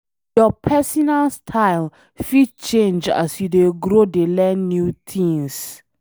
Your personal style fit change as you dey grow dey learn new things.